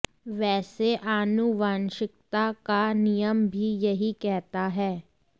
वैसे आनुवांशिकता का नियम भी यही कहता है